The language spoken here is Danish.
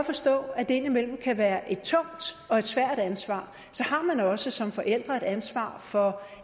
forstå at det indimellem godt kan være et tungt og svært ansvar har man også som forælder et ansvar for